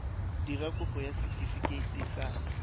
dira kopo ya setefikeiti sa